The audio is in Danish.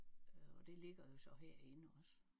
Øh og det ligger jo så herinde også